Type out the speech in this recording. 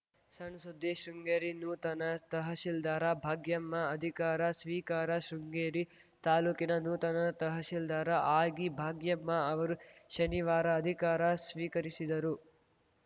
ಸಣ್‌ ಸುದ್ದಿ ಶೃಂಗೇರಿ ನೂತನ ತಹಸೀಲ್ದಾರ್‌ ಭಾಗ್ಯಮ್ಮ ಅಧಿಕಾರ ಸ್ವೀಕಾರ ಶೃಂಗೇರಿ ತಾಲೂಕಿನ ನೂತನ ತಹಸೀಲ್ದಾರ್‌ ಆಗಿ ಭಾಗ್ಯಮ್ಮ ಅವರು ಶನಿವಾರ ಅಧಿಕಾರ ಸ್ವೀಕರಿಸಿದರು